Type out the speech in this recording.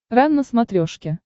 рен на смотрешке